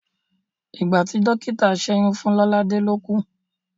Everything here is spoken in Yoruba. Ìgbàtí dọ́kítà ń ṣẹ́yún fún Lọ́ládẹ́ ló kú.